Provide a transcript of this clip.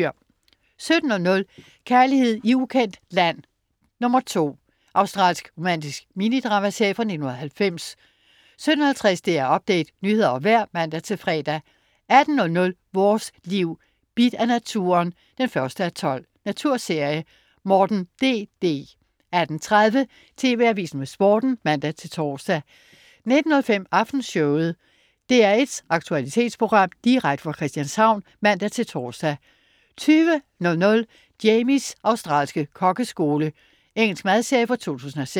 17.00 Kærlighed i ukendt land II. Australsk romantisk mini-dramaserie fra 1990 17.50 DR Update. Nyheder og vejr (man-fre) 18.00 Vores Liv: Bidt af naturen 1:12. Naturserie. Morten DD 18.30 TV Avisen med Sporten (man-tors) 19.05 Aftenshowet. DR1's aktualitetsprogram direkte fra Christianshavn (man-tors) 20.00 Jamies australske kokkeskole. Engelsk madserie fra 2006